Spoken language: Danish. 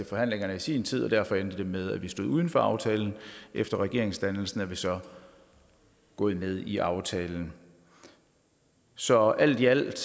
forhandlingerne i sin tid og derfor endte det med at vi stod uden for aftalen efter regeringsdannelsen er vi så gået med i aftalen så alt i alt er det